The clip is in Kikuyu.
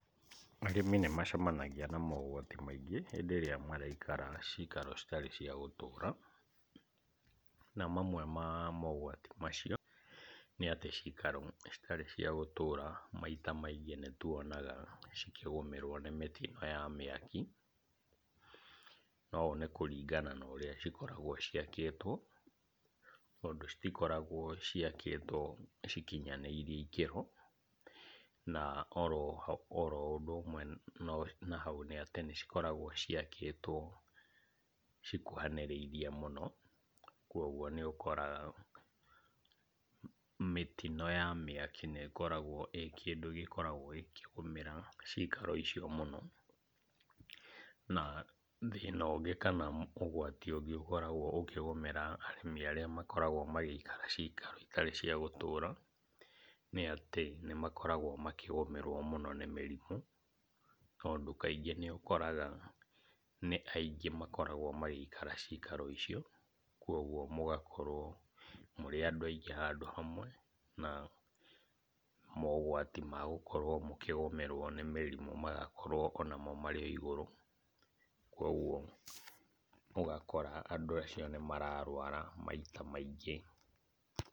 Arĩmi nĩmacemanagia na mogwati maingĩ hĩndĩ ĩrĩa maraikara cikaro citarĩ cia gũtũra, na mamwe ma mogwati macio, nĩ atĩ cikaro citarĩ cia gũtũra maita maingĩ nĩtuonaga cikĩgũmĩrwo nĩ mĩtino ya mĩaki, na ũũ nĩ kũringana na ũrĩa cikoragwo ciakĩtwo, tondũ citikoragwo ciakĩtwo cikinyanĩirie ikĩro, na oro ho oro ũndũ ũmwe na hau nĩ atĩ nĩcikoragwo ciakĩtwo cikuhanĩrĩririe mũno, kuoguo nĩũkoraga mĩtino ya mĩaki nĩ ĩkoragwo ĩ kĩndũ gĩkoragwo gĩkĩgũmĩra cikaro icio mũno. Na, thĩna ũngĩ kana ũgwati ũngĩ ũkoragwo ũkĩgũmĩra arĩmi arĩa makoragwo magĩikara cikaro itarĩ cia gũtũra nĩatĩ nĩmakoragwo makĩgũmĩrwo mũno nĩ mĩrimũ, tondũ kaingĩ nĩũkoraga nĩ aingĩ makoragwo magĩikara cikaro icio, kuoguo mũgakorwo mũrĩ andũ aingĩ handũ hamwe na mogwati ma gũkorwo mũkĩgũmĩrwo nĩ mĩrimũ magakorwo onamo marĩ o igũrũ, kuoguo ũgakora andũ acio nĩmararwara maita maingĩ.